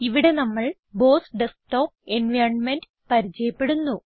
ഇവിടെ നമ്മൾ BOSS desktop environment പരിചയപ്പെടുന്നു